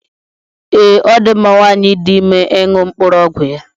Ee, ọ dị mma nwanyị dị ime ịṅụ mkpụrụ ọgwụ ya.